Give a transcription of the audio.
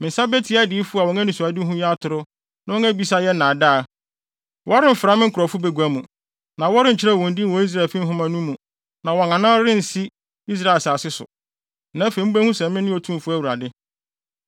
Me nsa betia adiyifo a wɔn anisoadehu yɛ atoro na wɔn abisa yɛ nnaadaa. Wɔremfra me nkurɔfo bagua mu, na wɔrenkyerɛw wɔn din wɔ Israelfi nhoma no mu na wɔn anan rensi Israel asase so. Na afei mubehu sɛ mene Otumfo Awurade.